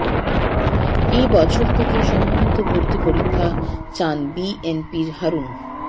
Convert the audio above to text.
এ বছর থেকেই সমন্বিত ভর্তি পরীক্ষা চান বিএনপির হারুন